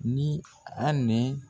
Ni Ani